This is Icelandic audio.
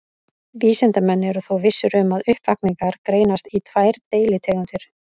Vísindamenn eru þó vissir um að uppvakningar greinast í tvær deilitegundir.